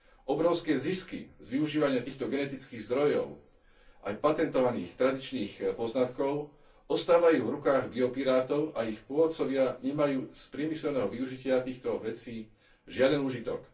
Obrovské zisky z využívania týchto genetických zdrojov aj patentovaných tradičných poznatkov ostávajú v rukách biopirátov a ich pôvodcovia nemajú z priemyselného využitia týchto vecí žiaden úžitok.